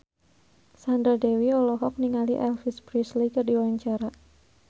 Sandra Dewi olohok ningali Elvis Presley keur diwawancara